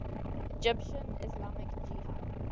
egyptian islamic jihad